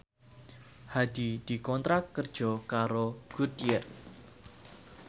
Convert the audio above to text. Hadi dikontrak kerja karo Goodyear